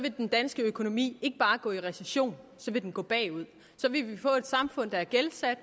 vil den danske økonomi ikke bare gå i recession så vil den gå bagud så vil vi få et samfund der er gældsat